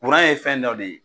Kuran ye fɛn dɔ de ye.